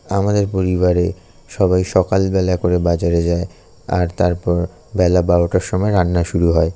আমাদের পরিবারে সবাই সকালবেলা করে বাজারে যায় আর তারপর বেলা বারোটার সময় রান্না শুরু হয়।